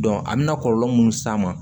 a bɛna kɔlɔlɔ mun s'a ma